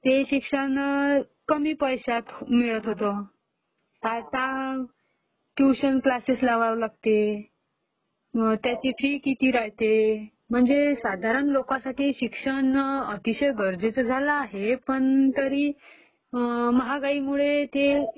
ते शिक्षण कमी पैश्यात मिळत होतं...आता ट्यूशन क्लासेस लावावे लागतील त्याची फी किती राहते, म्हणजे साधारण लोकांसाठी शिक्षण अतिशय गरजेचे झाले आहे पण तरी महागाईमुळे ते